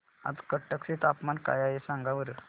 आज कटक चे तापमान काय आहे सांगा बरं